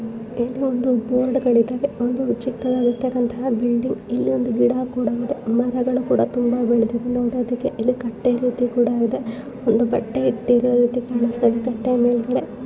ಇದು ಒಂದು ಬೋರ್ಡ್ಗಳು ಇದಾವೆ ಒಂದು ವಿಚಿತ್ರವಾದಂತ ಬಿಲ್ಡಿಂಗ್ ಇಲ್ಲಿ ಒಂದು ಗಿಡ ಕೂಡ ಇದೆ ಮರಗಳು ಕೂಡ ತುಂಬಾ ಬೆಳೆದಿದೆ ನೋಡಕೂ ಇದು ಕಟ್ಟೆ ರೀತಿ ಕೂಡ ಇದೆ ಒಂದು ಬಟ್ಟೆ ಇಟ್ಟಿರೋ ರೀತಿ ಕಾಣಿಸ್ತಾಇದೇ ತಟ್ಟೆಮೇಲ್ಗಡೆ --